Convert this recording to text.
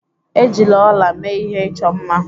Ejila ọla mee ihe ịchọ mma.